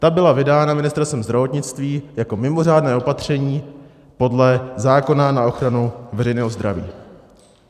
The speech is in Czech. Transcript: Ta byla vydána Ministerstvem zdravotnictví jako mimořádné opatření podle zákona na ochranu veřejného zdraví.